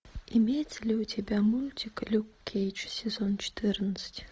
имеется ли у тебя мультик люк кейдж сезон четырнадцать